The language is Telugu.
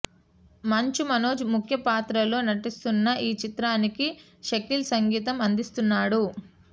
మంచు మనోజ్ ముఖ్య పాత్రలో నటిస్తున్న ఈచిత్రానికి షకీల్ సంగీతం అందిస్తున్నాడు